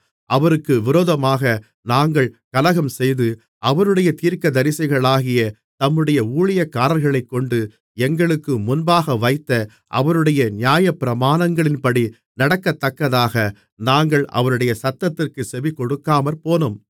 அவருக்கு விரோதமாக நாங்கள் கலகம்செய்து அவருடைய தீர்க்கதரிசிகளாகிய தம்முடைய ஊழியக்காரர்களைக்கொண்டு எங்களுக்கு முன்பாகவைத்த அவருடைய நியாயப்பிரமாணங்களின்படி நடக்கத்தக்கதாக நாங்கள் அவருடைய சத்தத்திற்குச் செவிகொடுக்காமற்போனோம்